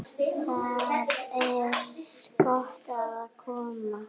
Þar er gott að koma.